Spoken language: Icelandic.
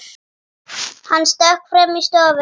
Hann stökk fram í stofu.